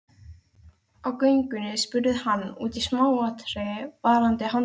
Á göngunni spurði hann út í smáatriði varðandi handtökuna.